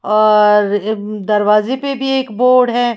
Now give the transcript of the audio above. और दरवाजे पे भी एक बोर्ड है।